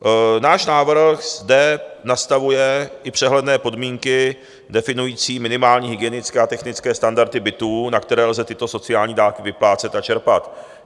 Náš návrh zde nastavuje i přehledné podmínky definující minimální hygienické a technické standardy bytů, na které lze tyto sociální dávky vyplácet a čerpat.